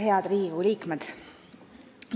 Head Riigikogu liikmed!